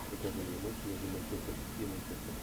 покажи мне матч между манчестер сити и манчестером